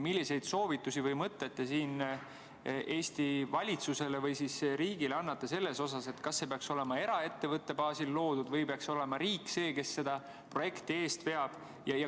Milliseid soovitusi või mõtteid te annate Eesti valitsusele või riigile selle kohta, kas see peaks olema eraettevõtte baasil loodud või peaks olema riik see, kes seda projekti veab?